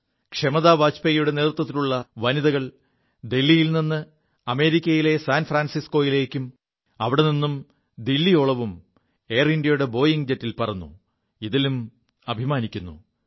ക്ഷമതാ വാജ്പേയിയുടെ നേതൃത്വത്തിലുള്ള വനിതകൾ ദില്ലിയിൽ നി് അമേരിക്കയിലെ സാൻ ഫ്രാൻസിസ്ക്കോയിലേക്കും അവിടെനിും ദില്ലിയോളവും എയർ ഇന്ത്യയുടെ ബോയിംഗ് ജറ്റിൽ പറു എതിലും അഭിമാനിക്കുു